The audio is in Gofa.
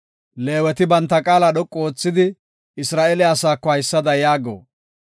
“Leeweti banta qaala dhoqu oothidi, Isra7eele asaako haysada yaago.